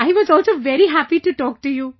I was also very happy to talk to you